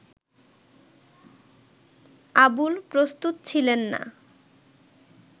আবুল প্রস্তুত ছিলেন না